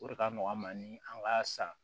O de ka nɔgɔn an ma ni an ka san